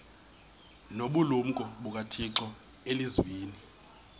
nobulumko bukathixo elizwini